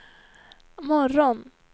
morgon